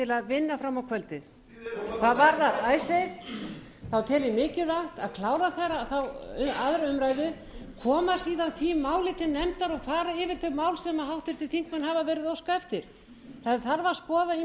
vinna fram á kvöldið hvað varðar icesave þá tel ég mikilvægt að klára annarrar umræðu koma síðan því máli til nefndar og fara yfir þau mál sem háttvirtir þingmenn hafa verið að óska eftir það þarf að skoða ýmsa